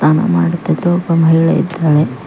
ಸ್ನಾನ ಮಾಡುತ್ತಿದ್ದ ಒಬ್ಬ ಮಹಿಳೆ ಇದ್ದಾಳೆ.